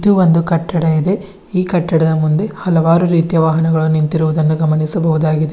ಇದು ಒಂದು ಕಟ್ಟಡ ಇದೆ ಈ ಕಟ್ಟಡದ ಮುಂದೆ ಹಲವಾರು ರೀತಿಯ ವಾಹನಗಳು ನಿಂತಿರುವುದನ್ನು ಗಮನಿಸಬಹುದಾಗಿದೆ.